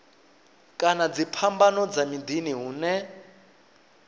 kana dziphambano dza miḓini hune